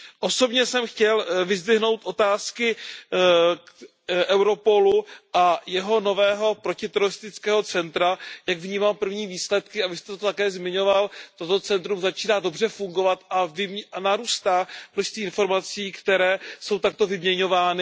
Osobně jsem chtěl vyzdvihnout otázky Europolu a jeho nového protiteroristického centra, jak vnímám první výsledky, a Vy jste to také zmiňoval, toto centrum začíná dobře fungovat a narůstá množství informací, které jsou takto vyměňovány.